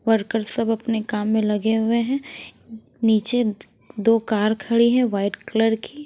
worker सब अपने काम में लगे हुए हैं नीचे दो खड़ी है वाइट कलर की--